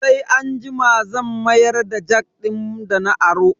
Sai anjima zan mayar da jak din dana aro.